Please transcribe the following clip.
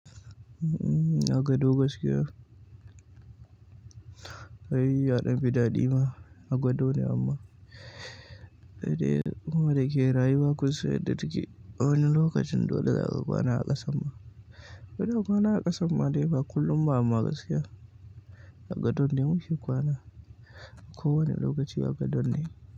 A gado gaskiya, ai ya ɗan fi daɗi ma, a gado ne amma. Sai dai kuma da yake rayuwa kunsan inda take, a wani lokacin dole za ka kwana a ƙasa ma. Kada ka kwana a ƙasan ma dai ba kullum ba amma gaskiya, a gado ne muke kwana. Ko wane lokaci agadon ne.